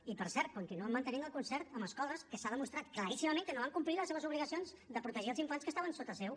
i per cert continuen mantenint el concert amb escoles que s’ha demostrat claríssimament que no van complir les seves obligacions de protegir els infants que estaven sota seu